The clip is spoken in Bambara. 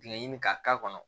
Ɲɛɲini k'a k'a kɔnɔ